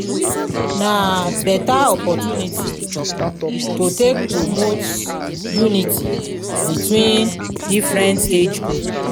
na beta opportunity to take promote unity between different age group